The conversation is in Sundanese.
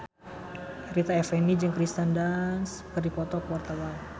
Rita Effendy jeung Kirsten Dunst keur dipoto ku wartawan